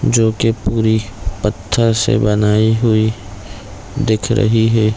जो की पूरी पत्थर से बनाई हुई दिख रही है।